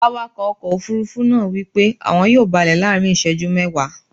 Awakọ̀ ọkọ̀ Òfurufú náà wípé àwọn yóò balẹ̀ láàrín iseju mẹ́ẹ̀wá.